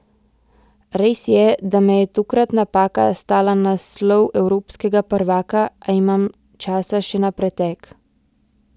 Res je, da me je tokrat napaka stala naslov evropskega prvaka, a imam časa še na pretek.